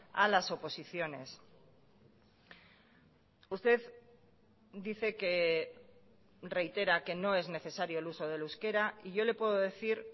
a las oposiciones usted dice que reitera que no es necesario el uso del euskera y yo le puedo decir